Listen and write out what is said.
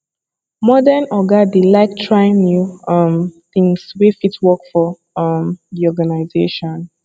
modern oga dey like try new um things wey fit work for um the organisation